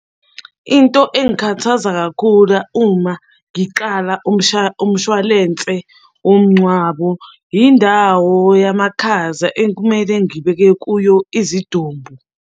Into engikhathaza kakhula uma ngiqala umshwalense womngcwabo, indawo yamakhaza ekumele ngibeke kuyo izidumbu.